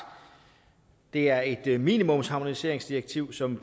det er et minimumsharmoniseringsdirektiv som